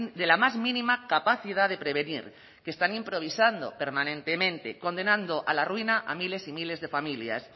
de la más mínima capacidad de prevenir que están improvisando permanentemente condenando a la ruina a miles y miles de familias